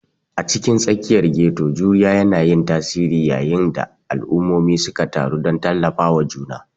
A cikin tsakiyar ghetto, juriya yana yin tasiri yayin da al'ummomi suka taru don tallafawa juna.